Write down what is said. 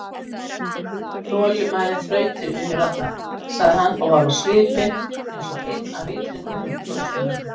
ÞOLINMÆÐIN ÞRAUTIR VINNUR ALLAR, sagði hann og var á svipinn eins og einn af Vitringunum-frá-Austurlöndum.